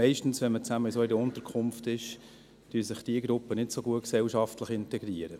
Meist, wenn man zusammen in einer solchen Unterkunft ist, integrieren sich diese Gruppen gesellschaftlich nicht so gut.